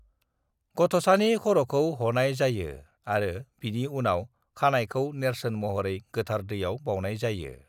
गथ'सानि ख'र'खौ ह'नाय जायो आरो बिनि उनाव खानायखौ नेरसोन महरै गोथार दैआव बाउनाय जायो।